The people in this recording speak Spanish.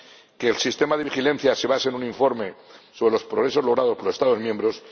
que el sistema de vigilancia se base en un informe sobre los progresos logrados por los Estados miembros